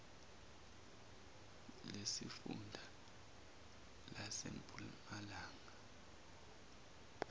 lesifun da lasempumalanga